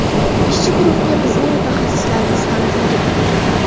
Ishchi guruhga bizning mutaxassislarimiz ham kirgan.